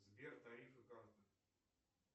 сбер тарифы карта